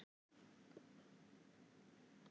Ögmunda, stilltu tímamælinn á áttatíu og átta mínútur.